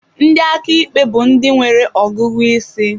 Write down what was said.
Ndị aka ikpe bụ ndị nwere ọgụgụ isi.